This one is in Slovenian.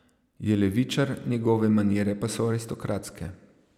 Je levičar, njegove manire pa so aristokratske.